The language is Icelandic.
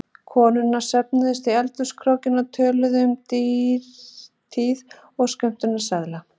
Konurnar söfnuðust í eldhúskrókinn og töluðu um dýrtíð og skömmtunarseðla.